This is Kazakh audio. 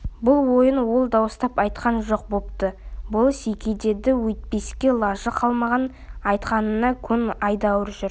бұл ойын ол дауыстап айтқан жоқ бопты болыс-еке деді өйтпеске лажы қалмаған айтқанына көн айдауына жүр